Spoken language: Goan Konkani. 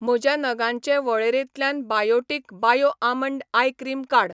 म्हज्या नगांचे वळेरेंतल्यान Biotique bio almond eye cream काड.